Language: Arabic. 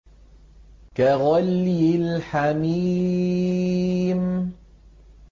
كَغَلْيِ الْحَمِيمِ